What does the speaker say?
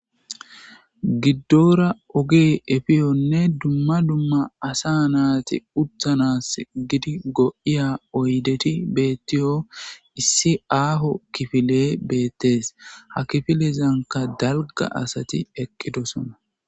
Giddora oge efiyonne dumma dumma asa naati uttanas gidi go'iya oyddeti beettiyo issi aaho kifile beettees. Ha kifilezanka dalgga asati eqqidosona.